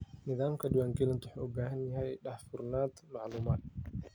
Nidaamka diiwaangelintu wuxuu u baahan yahay daahfurnaanta macluumaadka.